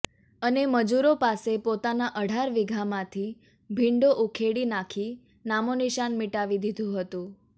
અને મજુરો પાસે પોતાના અઢાર વીઘામાંથી ભીંડો ઉખેડી નાંખી નામોનિશાન મીટાવી દિધુ હતુ